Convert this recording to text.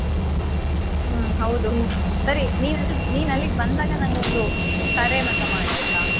ಹ್ಮ್ ಹೌದು. ಸರಿ ನಿನ್ ಅಲ್ಲಿ ಅಲ್ಲಿಗ್ ಬಂದಾಗ ನಂಗೊಂದು ಕರೆ ಮಾತಾ ಮಾಡು ಆಯ್ತಾ?